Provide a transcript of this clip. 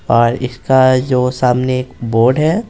और इसका जो सामने एक बोर्ड है।